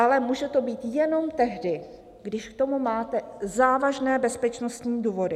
Ale může to být jenom tehdy, když k tomu máte závažné bezpečnostní důvody.